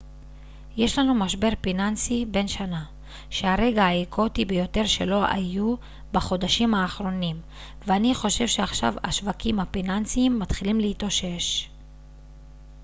יש לנו משבר פיננסי בן שנה שהרגע האקוטי ביותר שלו היה בחודשיים האחרונים ואני חושב שעכשיו השווקים הפיננסיים מתחילים להתאושש